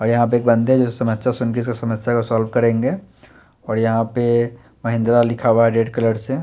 और यहाँ पे एक बन्दे हैं जो समस्या सुन के उस समस्या को सॉल्व करेंगे और यहाँ पे महिंद्रा लिखा हुआ है रेड कलर से।